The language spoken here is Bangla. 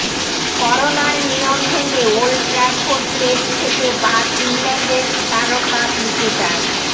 করোনার নিয়ম ভেঙে ওল্ড ট্র্যাফোর্ড টেস্ট থেকে বাদ ইংল্যান্ডের তারকা ক্রিকেটার